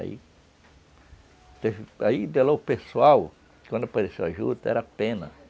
Aí, de lá, o pessoal, quando apareceu a juta, era pena.